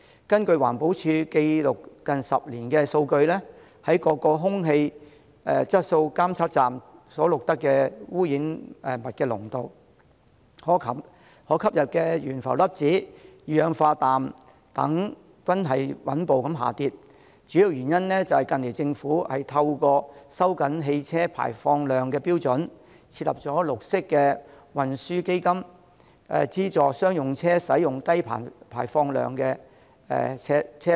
根據環保署記錄近10年的數據，各空氣質素監測站所錄得的污染物濃度、可吸入懸浮粒子、二氧化氮等均穩步下跌，主要原因是政府近來透過收緊汽車排放量的標準，並設立綠色運輸基金，資助商用車使用低排放量車輛。